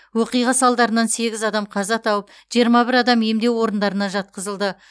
оқиға салдарынан сегіз адам қаза тауып жиырма бір адам емдеу орындарына жатқызылды